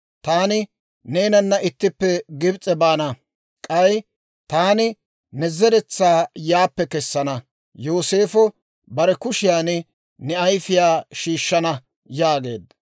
Taani neenana ittippe Gibs'e baana; k'ay taani ne zeretsaa yaappe kesana. Yooseefo bare kushiyaan ne ayfiyaa shiishshana» yaageedda.